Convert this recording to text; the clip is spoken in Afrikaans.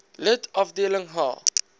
lid afdeling h